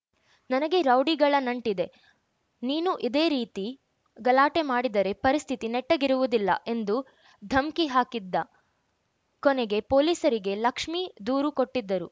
ನನಗೆ ರೌಡಿಗಳ ನಂಟಿದೆ ನೀನು ಇದೇ ರೀತಿ ಗಲಾಟೆ ಮಾಡಿದರೆ ಪರಿಸ್ಥಿತಿ ನೆಟ್ಟಗಿರುವುದಿಲ್ಲ ಎಂದು ಧಮ್ಕಿ ಹಾಕಿದ್ದ ಕೊನೆಗೆ ಪೊಲೀಸರಿಗೆ ಲಕ್ಷ್ಮಿ ದೂರು ಕೊಟ್ಟಿದ್ದರು